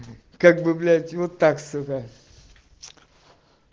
как бы блять вот так сука